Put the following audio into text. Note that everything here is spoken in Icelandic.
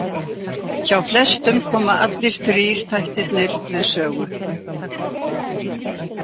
Hjá flestum koma allir þrír þættirnir við sögu.